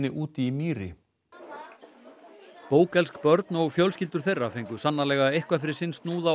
úti í mýri börn og fjölskyldur þeirra fengu sannarlega eitthvað fyrir sinn snúð á